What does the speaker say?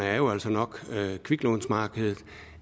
er jo altså nok kviklånsmarkedet